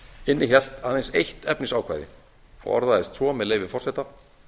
innihélt aðeins eitt efnisákvæði og orðaðist svo með leyfi forseta